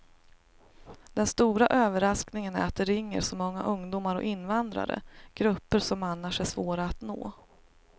Den stora överraskningen är att det ringer så många ungdomar och invandrare, grupper som annars är svåra att nå.